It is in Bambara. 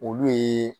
Olu ye